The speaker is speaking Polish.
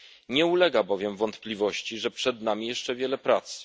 Nie ulega bowiem wątpliwości, że przed nami jeszcze wiele pracy.